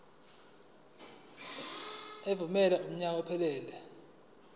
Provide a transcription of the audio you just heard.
evunyelwe kunyaka ophelele